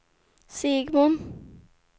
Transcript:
Segmon